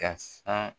Ka san